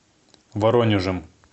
воронежем